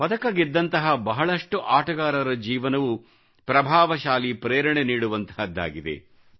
ಪದಕ ಗೆದ್ದಂತಹ ಬಹಳಷ್ಟು ಆಟಗಾರರ ಜೀವನವು ಪ್ರಭಾವಶಾಲಿ ಪ್ರೇರಣೆ ನೀಡುವಂತಹುದ್ದಾಗಿದೆ